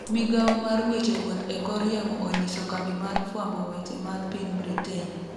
migawo mar weche wuoth e kor yamo onyiso kambi mar fwambo weche mar piny Britain